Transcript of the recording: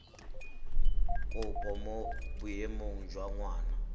kopo mo boemong jwa ngwana